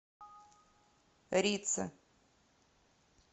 рица